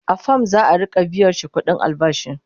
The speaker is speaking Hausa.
a fam za'a Rika biyashi ƙuɗin albashi